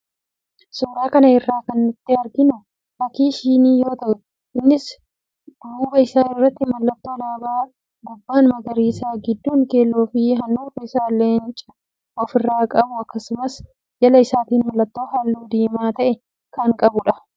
Suuraa kana irraa kan nuti arginu fakii shinii yoo ta'u, innis duuba isaa irratti mallattoo alaabaa gubbaan magariisa, gidduun keelloofi handhuurri isaa Leenca ofirraa qabu akkasumas jala isaatiin mallattoo halluu diimaa ta'e kan qabudha.